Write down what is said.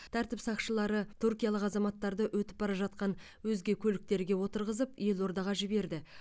тәртіп сақшылары түркиялық азаматтарды өтіп бара жатқан өзге көліктерге отырғызып елордаға жіберді